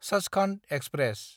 Sachkhand express